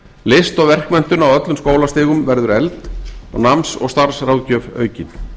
list og verkmenntun á öllum skólastigum verður efld og náms og starfsráðgjöf aukin